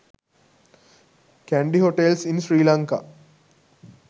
kandy hotels in sri lanka